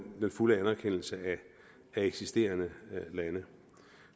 fulde anerkendelse af eksisterende lande